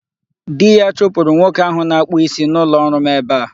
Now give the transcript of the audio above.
Di ya chụpụrụ nwoke ahụ na-akpụ isi n'ụlọọrụ m ebe a.